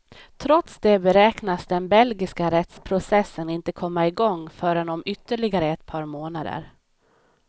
Trots det beräknas den belgiska rättsprocessen inte komma igång förrän om ytterligare ett par månader.